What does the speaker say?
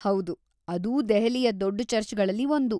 ಹೌದು, ಅದೂ ದೆಹಲಿಯ ದೊಡ್ಡ ಚರ್ಚ್‌ಗಳಲ್ಲಿ ಒಂದು.